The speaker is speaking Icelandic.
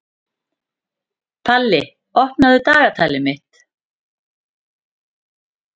Palli, opnaðu dagatalið mitt.